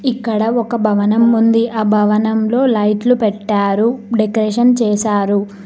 ఇక్కడ ఒక భవనం ఉంది ఆ భవనంలో లైట్లు పెట్టారు డెకరేషన్ చేశారు.